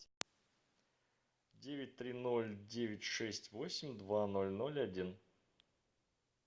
девять три ноль девять шесть восемь два ноль ноль один